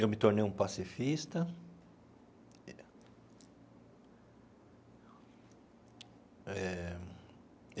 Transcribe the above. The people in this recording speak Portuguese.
Eu me tornei um pacifista e eh.